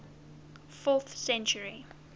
fourth century